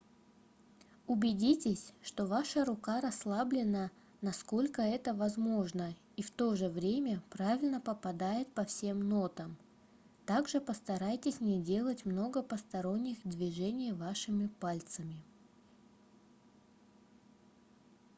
убедитесь что ваша рука расслаблена насколько это возможно и в то же время правильно попадает по всем нотам также постарайтесь не делать много посторонних движений вашими пальцами